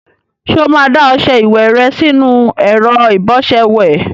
Ṣé o máa da ọṣẹ ìwẹ̀ rẹ sínú ẹ̀rọ ìbọṣẹ ìwẹ̀?